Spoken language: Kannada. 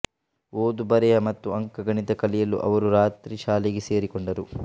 ಓದು ಬರೆಹ ಮತ್ತು ಅಂಕಗಣಿತ ಕಲಿಯಲು ಅವರು ರಾತ್ರಿ ಶಾಲೆಗೆ ಸೇರಿಕೊಂಡರು